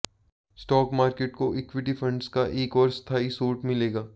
stock market को equity funds का एक और स्थायी स्रोत मिलेगा